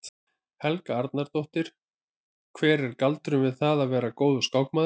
Helga Arnardóttir: Hver er galdurinn við það að vera góður skákmaður?